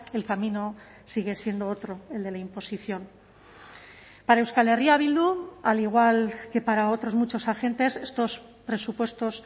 el camino sigue siendo otro el de la imposición para euskal herria bildu al igual que para otros muchos agentes estos presupuestos